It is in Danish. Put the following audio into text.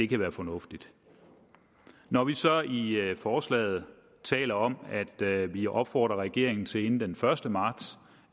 kan være fornuftigt når vi så i forslaget taler om at vi opfordrer regeringen til inden den første marts